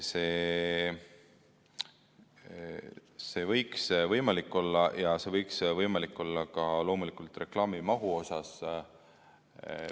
See võiks võimalik olla ja see võiks võimalik olla loomulikult ka reklaamimahu osas.